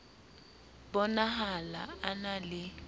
bo nahala a na le